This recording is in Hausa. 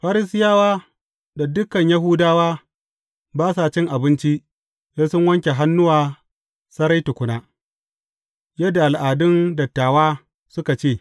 Farisiyawa da dukan Yahudawa ba sa cin abinci, sai sun wanke hannuwa sarai tukuna, yadda al’adun dattawa suka ce.